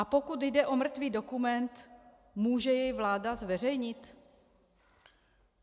A pokud jde o mrtvý dokument, může jej vláda zveřejnit?